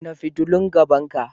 Kunna fitulun gaban ka!